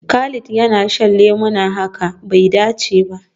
Khalid yana shan lemuna, hakan bai dace ba.